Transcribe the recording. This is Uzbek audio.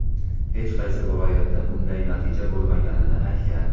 hech qaysi viloyatda bunday natija bo‘lmaganini aytgan.